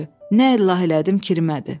Nə əl elədim, kirmədi.